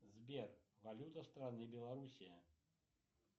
сбер валюта страны белоруссия